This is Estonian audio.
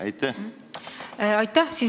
Aitäh!